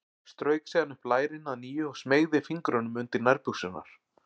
Strauk síðan upp lærin að nýju og smeygði fingrunum undir nærbuxurnar.